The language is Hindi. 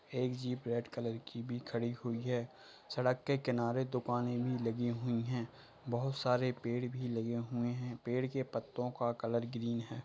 एक जीप रेड कलर की भी खड़ी हुई है। सड़क के किनारे दुकानें भी लगी हुई हैं। बोहोत सारे पेड़ भी लगे हुए हैं। पेड़ के पत्तों का कलर ग्रीन है।